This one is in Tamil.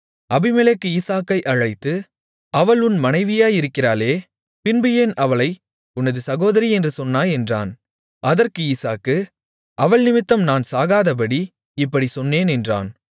அபிமெலேக்கு ஈசாக்கை அழைத்து அவள் உன் மனைவியாயிருக்கிறாளே பின்பு ஏன் அவளை உனது சகோதரி என்று சொன்னாய் என்றான் அதற்கு ஈசாக்கு அவள் நிமித்தம் நான் சாகாதபடி இப்படிச் சொன்னேன் என்றான்